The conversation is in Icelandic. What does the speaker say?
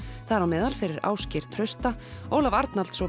þar á meðal fyrir Ásgeir Trausta Ólaf Arnalds og